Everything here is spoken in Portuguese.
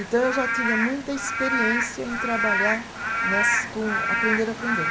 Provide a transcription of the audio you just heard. Então eu já tinha muita experiência em trabalhar né, se com aprender-aprender.